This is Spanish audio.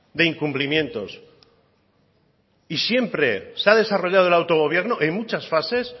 de incumplimientos y siempre se ha desarrollado el autogobierno en muchas fases